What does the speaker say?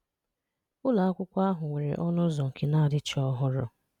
Ụlọ́ àkwụ́kọ́ ahụ̀ nwere ọnụ̀ ụzọ̀ nke na-adịchọ́ ọhụrụ́